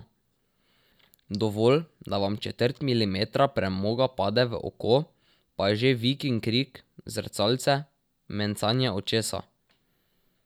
Dovolj, da vam četrt milimetra premoga pade v oko, pa je že vik in krik, zrcalce, mencanje očesa.